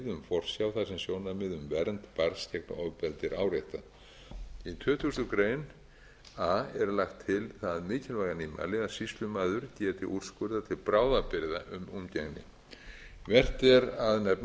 sem sjónarmið um vernd barns gegn ofbeldi er áréttað í tuttugustu greinar a er lagt til það mikilvæga nýmæli að sýslumaður geti úrskurðað til bráðabirgða um umgengni vert er að nefna sérstaklega að gert